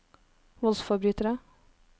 voldsforbrytere